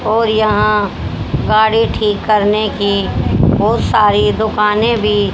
और यहां गाड़ी ठीक करने की बहोत सारी दुकानें भी--